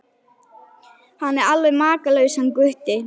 Hann er alveg makalaus hann Gutti.